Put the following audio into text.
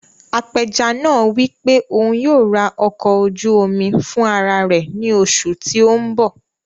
Apẹja náà wí pé òun yóò rà ọkọ̀ ojú omi fún ara rẹ̀ ní oṣù tí o n bọ̀